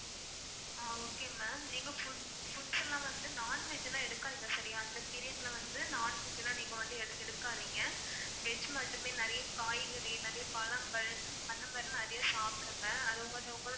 ஆஹ் okay ma'am நீங்க food~ foods லாம் வந்து non-veg லாம் எடுக்காதீங்க சரியா. இந்த period ல வந்து non-veg லாம் நீங்க வந்து எதுவும் எடுக்காதீங்க. veg மட்டுமே நிறைய காய்கறி நிறைய பழங்கள் அந்த மாதிரி நிறைய சாப்பிடுங்க அது கொஞ்சம் உங்களோட